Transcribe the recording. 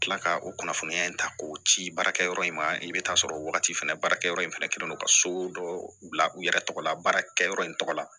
Kila ka o kunnafoniya in ta k'o ci baarakɛyɔrɔ in ma i bɛ taa sɔrɔ wagati fana baarakɛyɔrɔ in fana kɛlen no ka so dɔ bila u yɛrɛ tɔgɔ la baarakɛyɔrɔ in tɔgɔ la